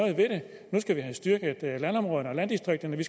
skal vi have styrket landområderne og landdistrikterne vi